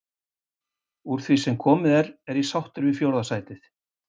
Úr því sem komið var er ég sáttur við fjórða sætið.